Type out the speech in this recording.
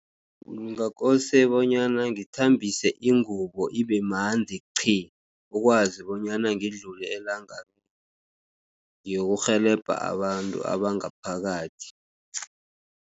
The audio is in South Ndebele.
Ngakose bonyana ngithambise ingubo ibemanzi qhi! ukwazi bonyana ngidlule elangabini ngiyokurhelebha abantu abangaphakathi.